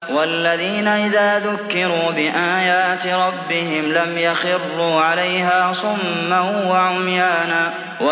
وَالَّذِينَ إِذَا ذُكِّرُوا بِآيَاتِ رَبِّهِمْ لَمْ يَخِرُّوا عَلَيْهَا صُمًّا وَعُمْيَانًا